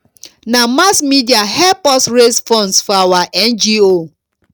na mass media help us raise funds for our ngo